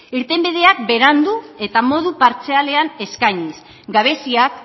irtenbideak berandu eta modu partzialean eskainiz gabeziak